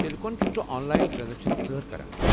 تیلہِ کونہٕ چھُکھ ژٕ آنلاین ٹرٛانزیکشن ژٲر کران؟